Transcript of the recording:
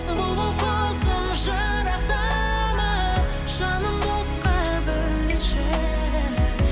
бұлбұл құсым жырақтама жанымды отқа бөлеші